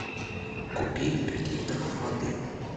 купи пять литров воды